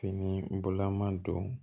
Fini bɔla man don